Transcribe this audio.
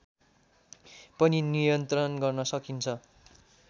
पनि नियन्त्रण गर्न सक्छ